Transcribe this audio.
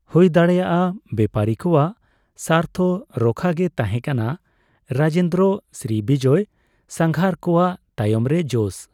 ᱦᱩᱭ ᱫᱟᱲᱮᱭᱟᱜᱼᱟ, ᱵᱮᱯᱟᱨᱤ ᱠᱚᱣᱟᱜ ᱥᱟᱨᱛᱷᱚ ᱨᱚᱦᱽᱠᱷᱟ ᱜᱮ ᱛᱟᱦᱮ ᱠᱟᱱᱟ ᱨᱟᱡᱮᱱᱫᱨᱚ ᱥᱨᱤᱵᱤᱡᱚᱭ ᱥᱟᱸᱜᱷᱟᱨ ᱠᱚᱣᱟᱜ ᱛᱟᱭᱚᱢ ᱨᱮ ᱡᱚᱥ ᱾